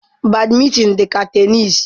Badmintin dị ka tenisi.